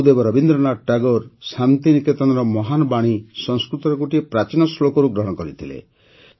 ଗୁରୁଦେବ ରବୀନ୍ଦ୍ରନାଥ ଠାକୁର ଶାନ୍ତି ନିକେତନର ମହାନ୍ ବାଣୀ ସଂସ୍କୃତର ଗୋଟିଏ ପ୍ରାଚୀନ ଶ୍ଳୋକରୁ ଗ୍ରହଣ କରିଥିଲେ